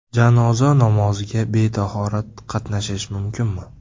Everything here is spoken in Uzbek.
Janoza namoziga betahorat qatnashish mumkinmi?.